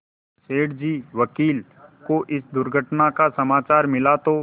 सेठ जी वकील को इस दुर्घटना का समाचार मिला तो